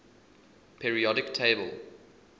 periodic table